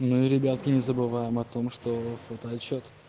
ну и ребятки не забываем о том что фотоотчет